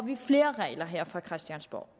flere regler her fra christiansborgs